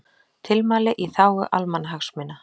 Tilmæli í þágu almannahagsmuna